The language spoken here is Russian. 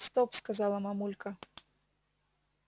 стоп сказала мамулька